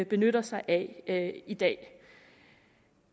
benytter sig af i dag